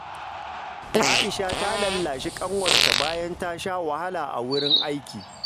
Aisha ta lallashi ƙanwarta bayan ta sha wahala a wurin aiki.